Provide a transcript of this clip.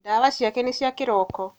Ndawa ciake nĩ cia kĩroko.